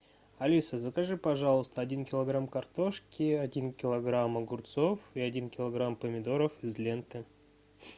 алиса закажи пожалуйста один килограмм картошки один килограмм огурцов и один килограмм помидоров из ленты